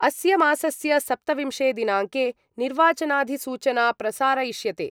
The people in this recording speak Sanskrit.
अस्य मासस्य सप्तविंशे दिनाङ्के निर्वाचनाधिसूचना प्रसारयिष्यते।